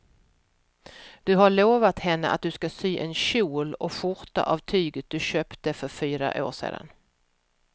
Du har lovat henne att du ska sy en kjol och skjorta av tyget du köpte för fyra år sedan.